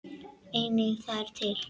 Einnig það er til.